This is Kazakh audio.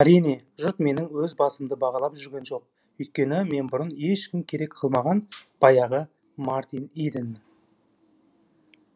әрине жұрт менің өз басымды бағалап жүрген жоқ өйткені мен бұрын ешкім керек қылмаған баяғы мартин иденмін